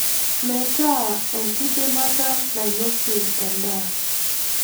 Metaa enkidimata nainosie endaa.